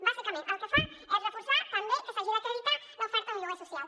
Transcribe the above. bàsicament el que fa és reforçar també que s’hagi d’acreditar l’oferta d’un lloguer social